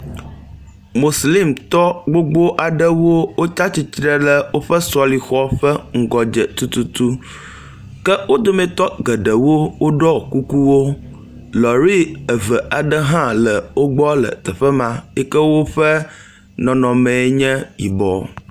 Moslimtɔ gbogbo aɖewo wotsi atsitre ɖe woƒe sɔlexɔ ƒe ŋgɔ dze tututu ke wo dometɔ geɖewo woɖɔ kukuwo lɔri eve aɖe hã le wo gbɔ le teƒe ma yi ke woƒe nɔnɔme enye yibɔ.